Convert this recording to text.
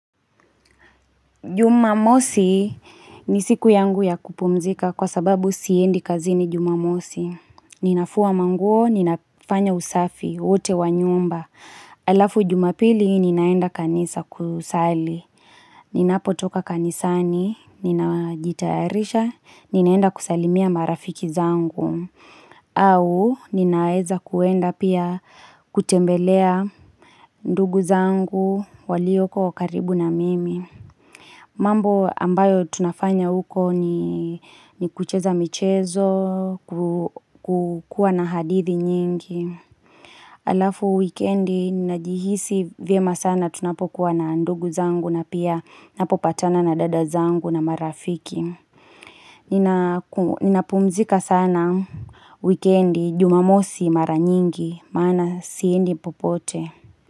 Jumamosi ni siku yangu ya kupumzika kwa sababu siendi kazini jumamosi. Ninafua manguo, ninafanya usafi, wote wa nyumba. Alafu jumapili ninaenda kanisa kusali. Ninapotoka kanisani, ninajitayarisha, ninaenda kusalimia marafiki zangu. Au ninaeza kuenda pia kutembelea ndugu zangu, walioko karibu na mimi. Mambo ambayo tunafanya uko ni kucheza michezo, kukua na hadithi nyingi. Alafu wikendi, najihisi vyema sana tunapokuwa na ndugu zangu na pia napopatana na dada zangu na marafiki. Nina Ninapumzika sana wikendi, jumamosi mara nyingi, maana siendi popote.